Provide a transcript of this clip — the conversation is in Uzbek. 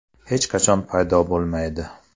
Hech qachon paydo bo‘lmaydi.